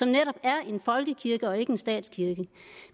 netop er en folkekirke og ikke en statskirke